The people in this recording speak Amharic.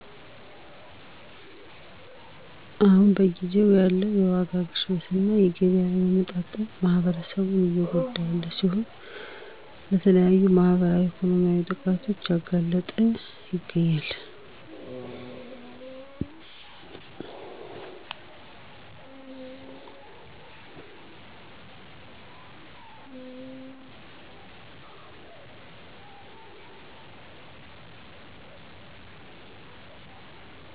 አሁን በጊዜው ያለ የዋጋ ግሽበት እና የገቢ አለመመጣጠን ማህበረሰቡን እየጎዳ ያለ ሲሆን ለተለያዩ ማህበራዊ ኢኮኖሚያዊ ጥቃቶች እያጋለጠው ይገኛል።